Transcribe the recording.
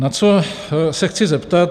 Na co se chci zeptat.